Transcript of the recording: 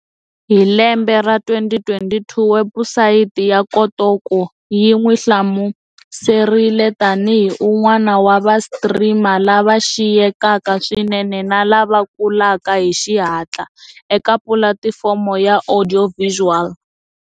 Hi lembe ra 2022, webusayiti ya Kotaku yi n'wi hlamuserile tani hi"un'wana wa va-streamer lava xiyekaka swinene na lava kulaka hi xihatla" eka pulatifomo ya audiovisual.